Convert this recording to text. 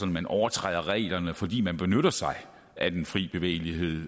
man overtræder reglerne fordi man benytter sig af den fri bevægelighed